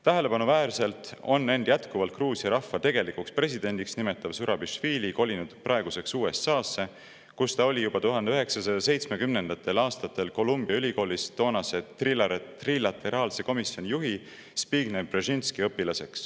Tähelepanuväärselt on end jätkuvalt Gruusia rahva tegelikuks presidendiks nimetav Zurabišvili kolinud praeguseks USA-sse, kus ta oli 1970. aastatel Columbia ülikoolis toonase trilateraalse komisjoni juhi Zbigniew Brzezinski õpilane.